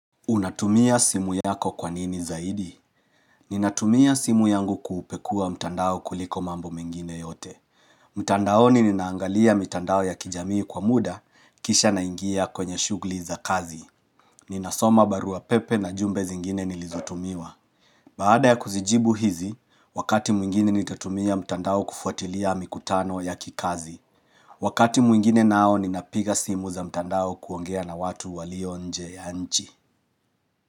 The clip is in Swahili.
Unatumia simu yako kwa nini zaidi Ninatumia simu yangu kupekua mtandao kuliko mambo mengine yote mtandaoni ninaangalia mitandao ya kijamii kwa muda kisha naingia kwenye shugli za kazi Ninasoma barua pepe na jumbe zingine nilizotumiwa Baada ya kuzijibu hizi wakati mwingine nitatumia mtandao kufuatilia mikutano ya kikazi Wakati mwingine nao ninapiga simu za mtandao kuongea na watu walio nje ya nchi.